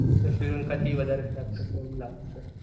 શ્રીલંકા થી વધારે ખરાબ થશે આવું લાગે છે